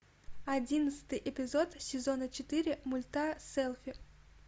одиннадцатый эпизод сезона четыре мульта селфи